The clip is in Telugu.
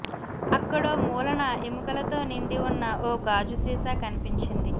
అక్కడో మూలన ఎముకలతో నిండి ఉన్న ఓ గాజు సీసా కనిపించింది